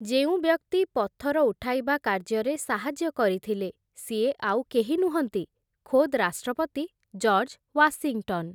ଯେଉଁ ବ୍ୟକ୍ତି ପଥର ଉଠାଇବା କାର୍ଯ୍ୟରେ ସାହାଯ୍ୟ କରିଥିଲେ, ସିଏ ଆଉ କେହି ନୁହଁନ୍ତି, ଖୋଦ୍ ରାଷ୍ଟ୍ରପତି ଜର୍ଜ ୱାଶିଂଟନ୍ ।